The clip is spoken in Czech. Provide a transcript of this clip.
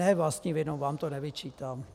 Ne vlastní vinou, vám to nevyčítám.